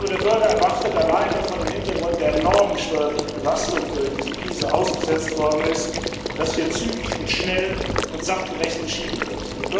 Der Bürger erwartet alleine vor dem Hintergrund der enormen steuerlichen Belastung, der er durch diese Krise ausgesetzt ist, dass hier zügig, schnell und sachgerecht entschieden wird.